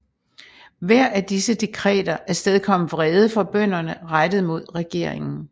Hver af disse dekreter afstedkom vrede fra bønderne rettet mod regeringen